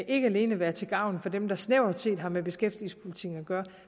ikke alene være til gavn for dem der snævert set har med beskæftigelsespolitikken at gøre